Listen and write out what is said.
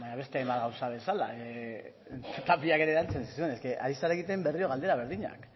baina beste hainbat gauza bezala tapiak ere erantzun zizun ari zara egiten berriro galdera berdinak